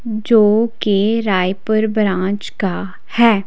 जो कि रायपुर ब्रांच का है।